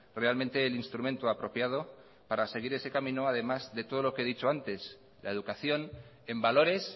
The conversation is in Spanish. realmente el instrumento apropiado para seguir ese camino además de todo lo que he dicho antes la educación en valores